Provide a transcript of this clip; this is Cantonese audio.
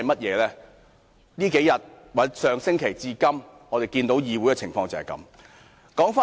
在這幾天或從上星期至今，我們看到議會的情況就是如此。